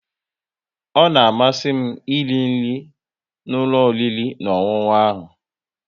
Ọ na amasị m iri nri n'ụlọ oriri na ọṅụṅụ ha